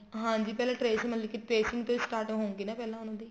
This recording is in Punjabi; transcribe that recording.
ਹਾਂਜੀ ਪਹਿਲਾ trace ਮਤਲਬ ਕੀ tracing ਤੋ ਹੀ start ਹਊਗੇ ਪਹਿਲਾ ਉਹਨਾ ਦੀ